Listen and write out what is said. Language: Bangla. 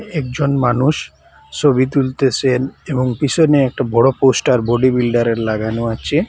একজন মানুষ সবি তুলতেসেন এবং পিসনে একটা বড় পোস্টার বডি বিল্ডারের লাগানো আছে।